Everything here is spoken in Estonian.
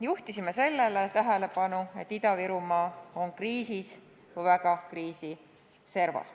Juhtisime tähelepanu sellele, et Ida-Virumaa on kriisis või väga kriisi serval.